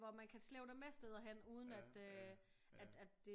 Hvor man kan slæbe dem med steder hen uden at det